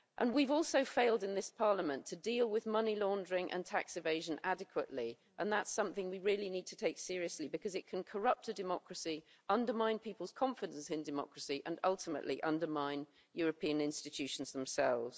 We've also failed in this Parliament to deal with money laundering and tax evasion adequately, and that's something we really need to take seriously, because it can corrupt a democracy, undermine people's confidence in democracy and, ultimately, undermine European institutions themselves.